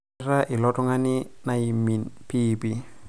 ekweta ilo tung'ani naimin piipii